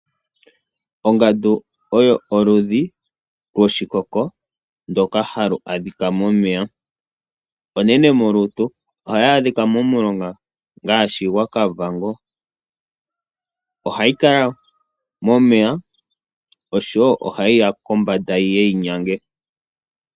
Ongandu oyo oludhi lwoshikoko ndoka halu adhika momeya. Onene molutu, ohayi adhika momulonga ngaashi gwa Kavango. Ohayi kala momeya, osho wo ohayi ya kombanda yiye yi nyange.